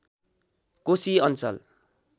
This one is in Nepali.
कोशी अञ्चल